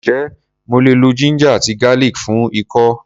Ǹjé mo lè lo ginger àti garlic fún ikọ́?